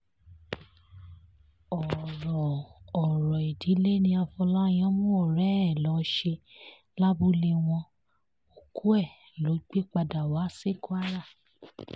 ọ̀rọ̀ ọ̀rọ̀ ìdílé ní afọláyàn mú ọ̀rẹ́ ẹ̀ lọ́ọ́ ṣe lábúlé wọn òkú ẹ̀ ló gbé padà wá sí kwara